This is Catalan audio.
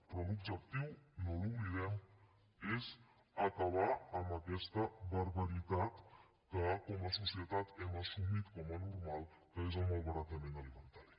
però l’objectiu no l’oblidem és acabar amb aquesta barbaritat que com a societat hem assumit com a normal que és el malbaratament alimentari